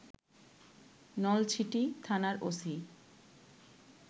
নলছিটি থানার ওসি